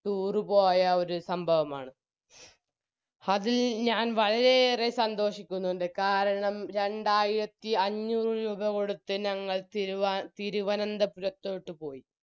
tour പോയ ഒരു സംഭവമാണ് അതിൽ ഞാൻ വളരെയേറെ സന്തോഷിക്കുന്നുണ്ട് കാരണം രണ്ടായിയിരത്തി അഞ്ചൂറ് രൂപ കൊടുത്ത് ഞങ്ങൾ തിരുവ തിരുവനന്തപുരത്തോട്ട് പോയി